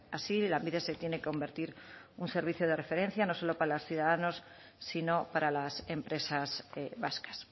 así lanbide se tiene que convertir en un servicio de referencia no solo para los ciudadanos sino para las empresas vascas